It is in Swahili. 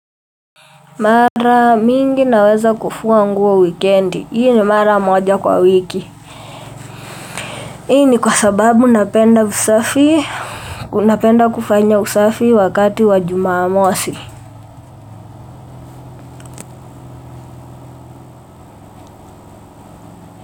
Mara mingi naweza kufua nguo wikendi. Hii ni mara moja kwa wiki. Hii ni kwa sababu napenda usafi. Napenda kufanya usafi wakati wa jumamosi.